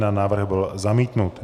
Návrh byl zamítnut.